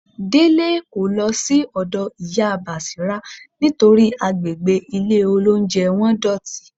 Délé kò lọ sí ọ̀dọ́ Ìyá Bàṣírá nítorí àgbègbè ilé-olóunjẹ wọn dọ̀tí